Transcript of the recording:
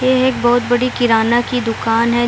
ये एक बहत बड़ी किराना की दुकान है।